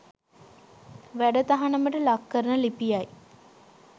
වැඩ තහනමට ලක් කරන ලිපියයි